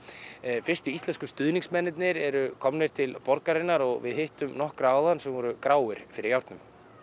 fyrstu íslensku stuðningsmennirnir eru komnir til borgarinnar og við hittum nokkra áðan sem voru gráir fyrir járnum